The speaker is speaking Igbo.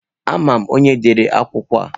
Ama m onye dere akwụkwọ a.